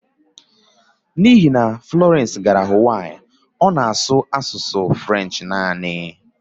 N'ihi na Florence gara Huwaii, ọ na-asụ naanị French